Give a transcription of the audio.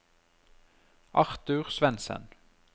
Arthur Svendsen